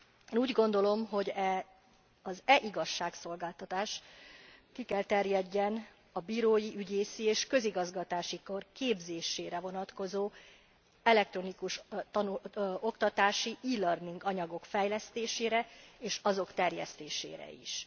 Én úgy gondolom, hogy az e igazságszolgáltatás ki kell terjedjen a bírói, ügyészi és közigazgatási kar képzésére vonatkozó elektronikus oktatási, e learning anyagok fejlesztésére és azok terjesztésére is.